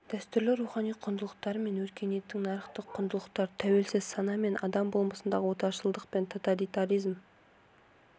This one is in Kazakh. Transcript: дәстүрлі рухани құндылықтар мен өркениеттік нарықтық құндылықтар тәуелсіз сана мен адам болмысындағы отаршылдық пен тоталитаризм